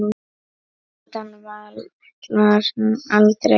Utan vallar: aldrei.